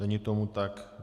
Není tomu tak.